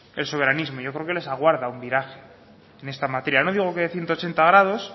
el soberanismo yo creo que les aguarda un viraje en esta materia no digo que de ciento ochenta grados